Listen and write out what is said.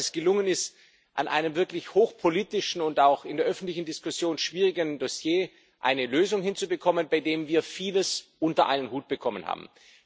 Ich glaube, dass es gelungen ist, bei einem wirklich hochpolitischen und auch in der öffentlichen Diskussion schwierigen Dossier eine Lösung hinzubekommen, bei der wir vieles unter einen Hut bekommen haben.